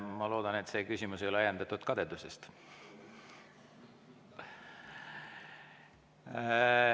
Ma loodan, et see küsimus ei ole ajendatud kadedusest.